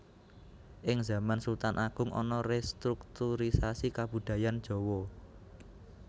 Ing zaman Sultan Agung ana restrukturisasi kabudayan jawa